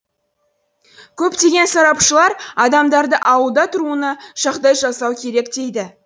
көптеген сарапшылар адамдарды ауылда тұруына жағдай жасау керек дейді